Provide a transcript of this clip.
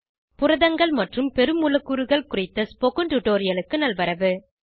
புரதங்கள் மற்றும் பெருமூலக்கூறுகள் குறித்த ஸ்போகன் டுடோரியலுக்கு நல்வரவு